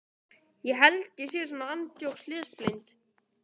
Jóhann Helgason telur að sigurinn hafi verið sanngjarn.